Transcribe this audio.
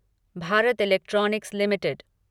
Bharat electronics limited